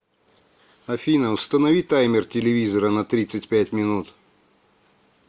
афина установи таймер телевизора на тридцать пять минут